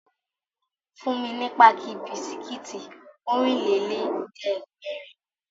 Fún mi ní páàkì bisikítì Ọ̀rìnlélẹ̀ẹ́dẹ́gbèrin!